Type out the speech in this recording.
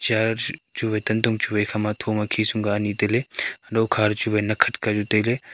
chair chuwai tantong chuwai thoma khisum ka ani tailey lokha toh chuwai nakkhat ka tailey.